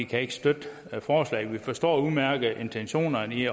kan ikke støtte forslaget vi forstår udmærket intentionerne i